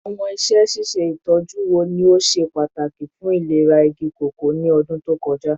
Awọn iṣẹ ṣiṣe itọju wo ni o ṣe pataki fun ilera igi koko ni ọdun to kọja?